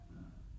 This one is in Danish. Ja